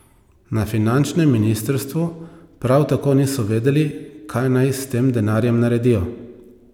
Na finančnem ministrstvu prav tako niso vedeli, kaj naj s tem denarjem naredijo.